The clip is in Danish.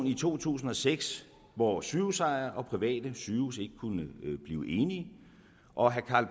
i to tusind og seks hvor sygehusejere og private sygehuse ikke kunne blive enige og herre karl